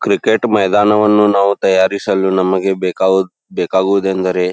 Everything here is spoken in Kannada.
ಕ್ರಿಕೆಟ್ ಮೈದಾನವನ್ನು ನಾವು ತಯಾರಿಸಲು ನಮಗೆ ಬೇಕಾಗು ಬೇಕಾಗುದೆಂದರೆ.